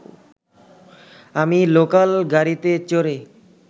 আমি লোকাল গাড়িতে চড়ে